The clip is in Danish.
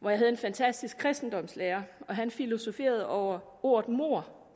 hvor jeg havde en fantastisk kristendomslærer han filosoferede over ordet mord